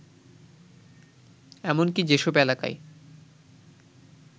এমনকি যেসব এলাকায়